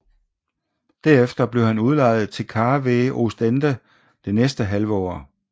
Derefter blev han udlejet til KV Oostende det næste halve år